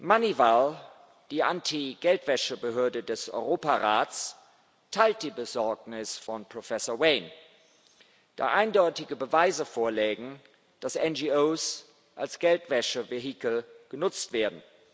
MONEYVAL, die Anti Geldwäsche Behörde des Europarats, teilt die Besorgnis von Professor Wain, da eindeutige Beweise vorlägen, dass NGOs als Geldwäschevehikel genutzt werden.